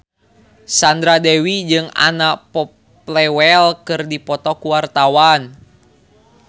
Sandra Dewi jeung Anna Popplewell keur dipoto ku wartawan